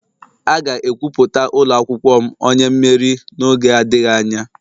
A ga-ekwupụta ụlọ akwụkwọ m onye mmeri n'oge adịghị anya.